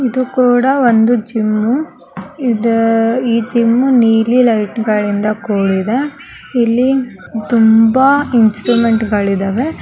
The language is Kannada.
ಇದೂ ಕೂಡಾ ಒಂದು ಜಿಮ್ಮು ಇದ್ ಈ ಜಿಮ್ ನೀಲಿ ಲೈಟ್ಗ ಳಿಂದ ಕೂಡಿದೆ ಇಲ್ಲಿ ತುಂಬಾ ಇನ್ಸಟ್ರುಮೆಂಟಗಳಿದ್ದಾವೆ .